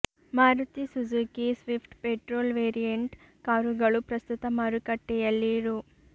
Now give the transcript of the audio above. Maruti Suzuki swift petrol variant ಕಾರುಗಳು ಪ್ರಸ್ಥುತ ಮಾರುಕಟ್ಟೆಯಲ್ಲಿ ರೂ